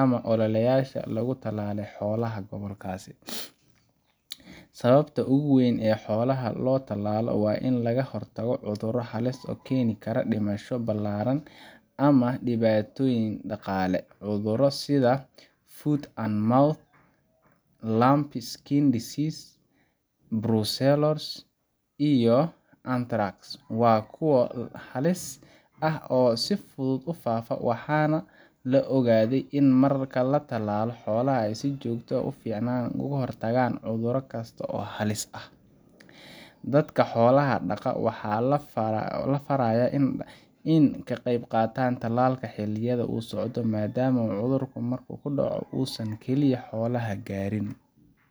ama ololeyaasha lagu talaalay xoolaha gobolkaas. Sababta ugu weyn ee xoolaha loo tallaalo waa in laga hortago cudurro halis ah oo keeni kara dhimasho ballaaran ama dhibaatooyin dhaqaale. Cudurro sida foot-and-mouth, lumpy skin disease, brucellosis iyo anthrax waa kuwa halis ah oo si fudud u faafa, waxaana la ogaaday in marka la tallaalo xoolaha si joogto ah, ay si fiican uga hortagaan cudur kasta oo halis ah. Dadka xoolaha dhaqda waxaa la farayaa in ay ka qaybqaataan tallaalkaas xilliyada uu socdo, maadaama cudurka marka uu dhaco uusan kaliya hal xoolo gaarin